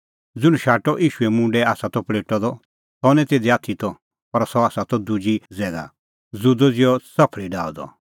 ज़ुंण शाटअ ईशूए मुंडै आसा त पल़ेटअ द सह निं तिधी आथी त पर सह त दुजी ज़ैगा ज़ुदअ ज़िहअ च़फल़ी डाहअ द